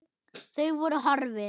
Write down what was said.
Þau voru horfin.